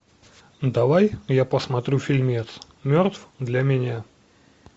давай я посмотрю фильмец мертв для меня